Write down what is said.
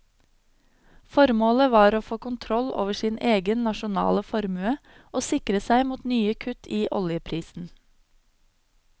Formålet var å få kontroll over sin egen nasjonale formue og sikre seg mot nye kutt i oljeprisen.